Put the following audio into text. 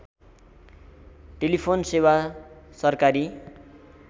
telephone सेवा सरकारी